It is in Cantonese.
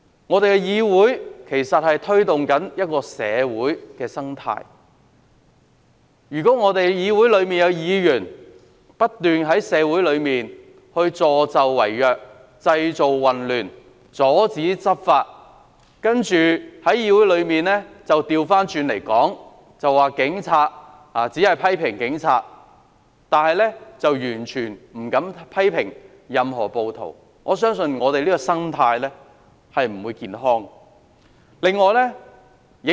我們的議會其實影響社會的生態，如果議會內有議員不斷在社會上助紂為虐、製造混亂、阻止執法，然後在議會內把事情倒過來說，只批評警察，完全不敢批評任何暴徒。我相信這樣的議會生態是不健康的。